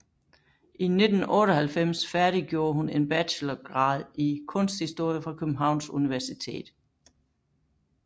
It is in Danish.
I 1998 færdiggjorde hun en bachelorgrad i kunsthistorie fra Københavns Universitet